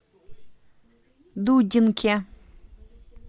дудинке